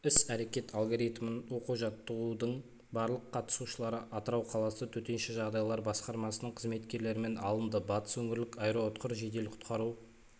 іс-әрекет алгоритмін оқу-жаттығудың барлық қатысушылары атырау қаласы төтенше жағдайлар басқармасының қызметкерлерімен алынды батыс өңірлік аэроұтқыр жедел-құтқару